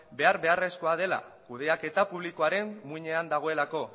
behar beharrezkoa dela kudeaketa publikoaren muinean dagoelako